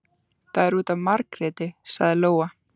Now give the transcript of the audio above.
Það er út af Margréti, sagði Lóa.